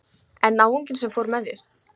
En náunginn sem fór með þér?